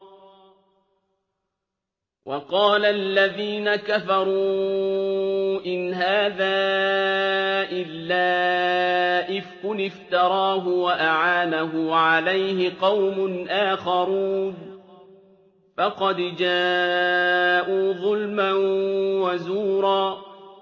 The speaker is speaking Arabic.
وَقَالَ الَّذِينَ كَفَرُوا إِنْ هَٰذَا إِلَّا إِفْكٌ افْتَرَاهُ وَأَعَانَهُ عَلَيْهِ قَوْمٌ آخَرُونَ ۖ فَقَدْ جَاءُوا ظُلْمًا وَزُورًا